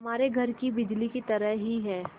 हमारे घर की बिजली की तरह ही है